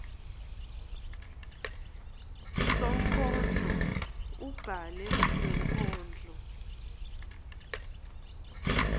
sonkondlo ubhale lenkondlo